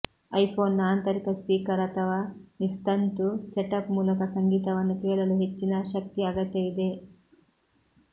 ಐಫೋನ್ನ ಆಂತರಿಕ ಸ್ಪೀಕರ್ ಅಥವಾ ನಿಸ್ತಂತು ಸೆಟಪ್ ಮೂಲಕ ಸಂಗೀತವನ್ನು ಕೇಳಲು ಹೆಚ್ಚಿನ ಶಕ್ತಿ ಅಗತ್ಯವಿದೆ